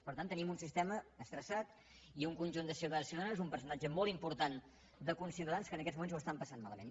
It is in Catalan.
per tant tenim un sistema estressat i un conjunt de ciutadans i ciutadanes un percentatge molt important de conciutadans que en aquests moments ho estan passant malament